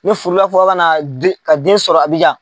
N'u furula fɔ ka na den sɔrɔ abijan.